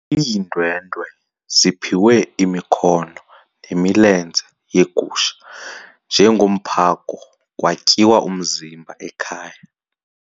Iindwendwe ziphiwe imikhono nemilenze yegusha njengomphako kwatyiwa umzimba ekhaya.